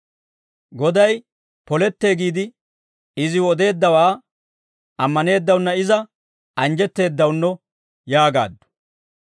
Goday polettee giide iziw odeeddawaa ammaneeddawunna iza anjjetteeddawunno» yaagaaddu.